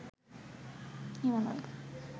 Himalaya